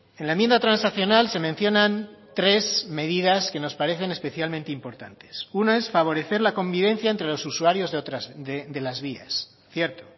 en la enmienda transaccional se mencionan tres medidas que nos parecen especialmente importantes una es favorecer la convivencia entre los usuarios de las vías cierto